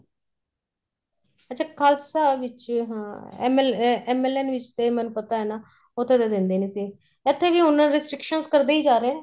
ਅੱਛਾ ਖਾਲਸਾ ਵਿੱਚ ਹਾਂ ML MLN ਵਿੱਚ ਤੇ ਮੈਨੂੰ ਪਤਾ ਏ ਨਾ ਉੱਥੇ ਤਾਂ ਦੇਂਦੇ ਨੀਂ ਸੀ ਇੱਥੇ ਵੀ ਉਹਨਾ ਦੇ restriction ਕਰਦੇ ਹੀ ਜਾ ਰਹੇ ਏ